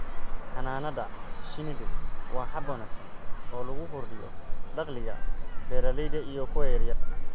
Xannaanada shinnidu waa hab wanaagsan oo lagu kordhiyo dakhliga beeralayda iyo kuwa yaryar.